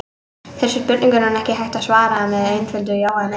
Þessum spurningum er ekki hægt að svara með einföldu já eða nei.